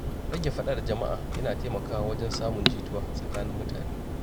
Rage faɗa da jama'a yana taimakawa wajen samun jituwa tsakanin mutane.